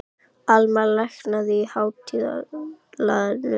Almar, lækkaðu í hátalaranum.